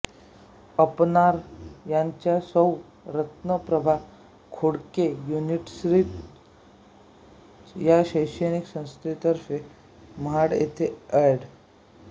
अपर्णा यांच्या सौ रत्नप्रभा खोडके युनिवर्सिटीज या शैक्षणिक संस्थेतर्फे महाड येथे एड